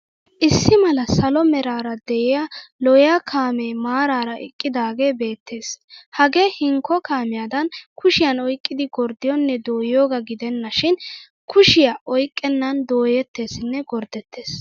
Issi mala salo meraara de'iyaa lo'iya kaamee maraara eqqidaagee beettes. Hagee hinkko kaamiyaadan kushiyan oyqqidi gorddiyoonne dooyiyoogaa gidennaashin kushiya oyqqennan dooyettesinne gorddettes.